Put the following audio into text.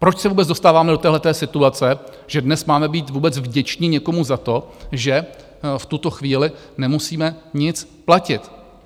Proč se vůbec dostáváme do téhleté situace, že dnes máme být vůbec vděčni někomu za to, že v tuto chvíli nemusíme nic platit?